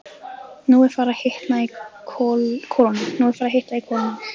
Nú er farið að hitna í kolunum.